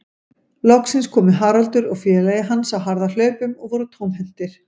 Loksins komu Haraldur og félagi hans á harðahlaupum og voru tómhentir.